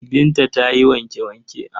Binta ta yi wanke-wanke.